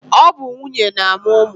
ọ bụ nwunye na-amụ ụmụ